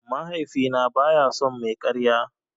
Mahaifina baya son mai karya.